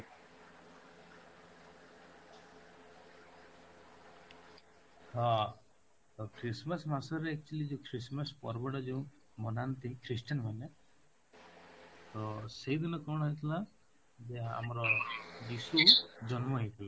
ଅଂ ତ Christmas ମାସରେ actually ଯୋଉ Christmas ପର୍ବ ଟା ଯେଉଁ ମନାନ୍ତି christian ମାନେ ତ ସେଇଦିନ କ'ଣ ହେଇଥିଲା ଯେ ଆମର ଯୀଶୁ ଜନ୍ମ ହେଇଥିଲେ